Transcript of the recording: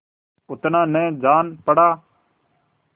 उतना न जान पड़ा